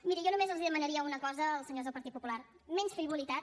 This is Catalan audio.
miri jo només els demanaria una cosa als senyors del partit popular menys frivolitat